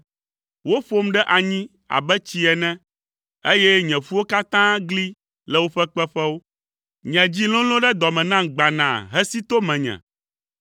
Woƒom ɖe anyi abe tsi ene, eye nye ƒuwo katã gli le woƒe kpeƒewo. Nye dzi lolõ ɖe dɔ me nam gbanaa hesi to menye.